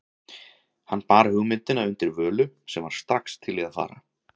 Hann bar hugmyndina undir Völu, sem var strax til í að fara.